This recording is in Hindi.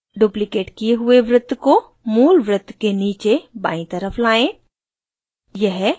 duplicated किये हुए वृत्त को move वृत्त के नीचे बायीं तरफ लाएं